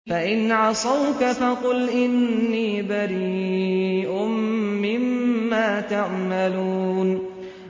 فَإِنْ عَصَوْكَ فَقُلْ إِنِّي بَرِيءٌ مِّمَّا تَعْمَلُونَ